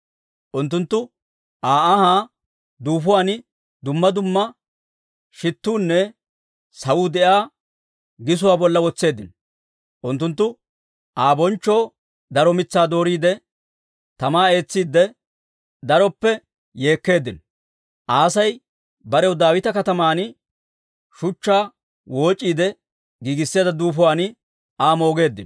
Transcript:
Unttunttu Aa ahaa duufuwaan dumma dumma shittuunne sawuu de'iyaa gisuwaa bolla wotseeddino. Unttunttu Aa bonchchoo daro mitsaa dooriide, tamaa eetsiide, daroppe yeekkeeddino. Asay barew Daawita Kataman shuchchaa wooc'iide giigisseedda duufuwaan Aa moogeeddino.